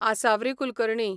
Asavari Kulkarni